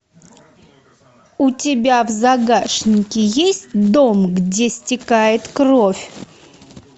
у тебя в загашнике есть дом где стекает кровь